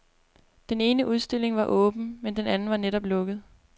Den ene udstilling var åben, men den anden var netop lukket.